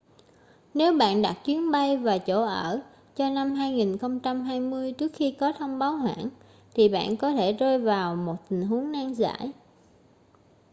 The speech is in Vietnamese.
nếu bạn đặt chuyến bay và chỗ ở cho năm 2020 trước khi có thông báo hoãn thì bạn có thể rơi vào một tình huống nan giải